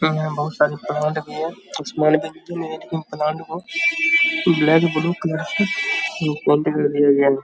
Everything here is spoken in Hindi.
यहाँ बहुत सारी प्लांट भी है। प्लांट को ब्लैक ब्लू कलर से पेंट कर दिया गया है।